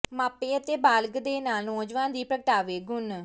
ਮਾਪੇ ਅਤੇ ਬਾਲਗ ਦੇ ਨਾਲ ਨੌਜਵਾਨ ਦੀ ਪ੍ਰਗਟਾਵੇ ਗੁਣ